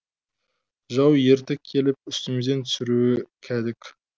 жау ертіп келіп үстімізден түсіруі кәдік